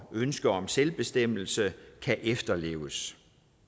ønsker om selvbestemmelse kan efterleves